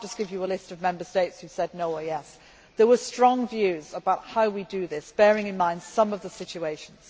I cannot just give you a list of Member States who said yes or no. There were strong views about how we do this, bearing in mind some of the situations.